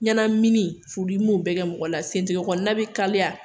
Ɲɛnamini furudimi b'o bɛɛ kɛ mɔgɔ la sentɛgɛ kɔnɔna bɛ kalaya